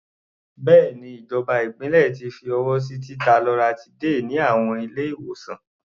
Bẹ́ẹ̀ni, ìjọba ìpínlẹ̀ ti fi ọwọ́ sí títa loratiday ní àwọn ilé-ìwòsàn.